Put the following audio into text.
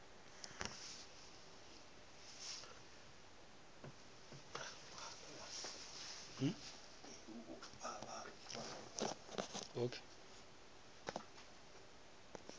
gapeleditšego se go direga e